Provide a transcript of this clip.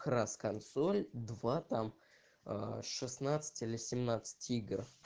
крас консоль два там шестнадцать или семнадцать игр